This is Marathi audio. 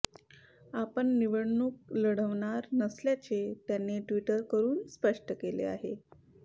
आपण निवडणूक लढवणार नसल्याचे त्याने ट्वीट करून स्पष्ट केले आहे